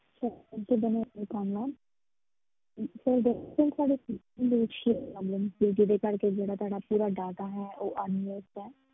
Sir ਜਿੱਦਾਂ ਮੈਂ sir ਦਰਅਸਲ ਸਾਡੇ system ਦੇ ਵਿੱਚ ਹੀ ਇਹ problem ਹੈ, ਜਿਹਦੇ ਕਰਕੇ ਜਿਹੜਾ ਤੁਹਾਡਾ ਪੂਰਾ data ਹੈ ਉਹ ਹੈ।